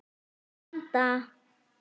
Að vanda.